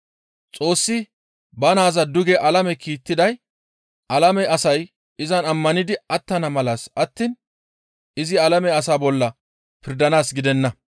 Xoossi ba naaza duge alame kiittiday alame asay izan ammanidi attana malassa attiin izi alame asaa bolla pirdanaas gidenna.